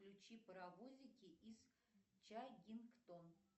включи паровозики из чагингтон